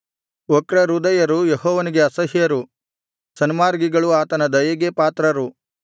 ವಕ್ರಹೃದಯರು ಯೆಹೋವನಿಗೆ ಅಸಹ್ಯರು ಸನ್ಮಾರ್ಗಿಗಳು ಆತನ ದಯೆಗೆ ಪಾತ್ರರು